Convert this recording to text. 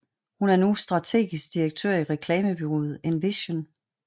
Hun er nu strategisk direktør i reklamebureauet Envision